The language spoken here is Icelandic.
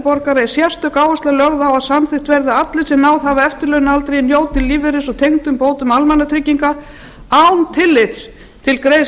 borgara að sérstök áhersla sé lögð á að samþykkt verði að allir þeir sem náð hafa eftirlaunaaldri njóti lífeyris og tengdra bóta almannatrygginga án tillits til